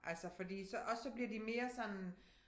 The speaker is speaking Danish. Altså fordi så og så bliver de mere sådan